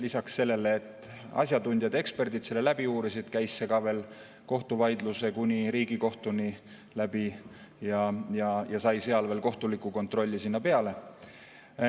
Lisaks sellele, et asjatundjad, eksperdid selle läbi uurisid, käis see läbi ka kohtuvaidluse kuni Riigikohtuni ja sai seal veel kohtuliku kontrolli peale.